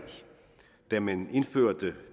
da man indførte